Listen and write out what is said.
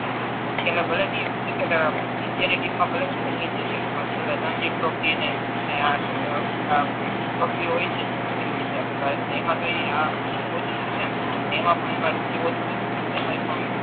પછી એણે ભલે ની વિકેટ ઈન્ડિયા ની ટીમ મા ભલે છેલ્લે નહી જઈ શકે પણ છેલ્લ બીજી ટ્રોફીઓ હોય છે થતી હોય છે આપણા ભારત મા એમા કઈ રૂપિયો ઓછો નથી મળતો એમાય પણ